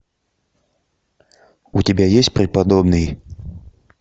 у тебя есть преподобный